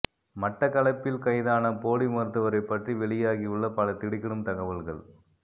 மட்டக்களப்பில் கைதான போலி மருத்துவரைப் பற்றி வெளியாகியுள்ள பல திடுக்கிடும் தகவல்கள்